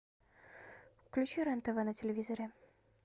включи рен тв на телевизоре